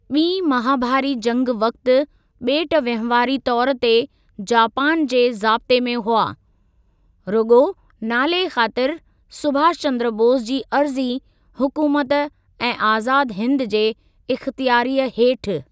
ॿीं महाभारी जंग वक़्ति, ॿेट वंहिवारी तौरु ते जापान जे ज़ाब्ते में हुआ, रुॻो नाले ख़ातरि सुभाष चंद्र बोस जी अर्ज़ी हुकूमत ए आज़ाद हिंद जे इख़्तियारीअ हेठि।